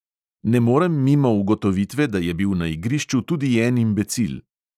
"Ne morem mimo ugotovitve, da je bil na igrišču tudi en imbecil."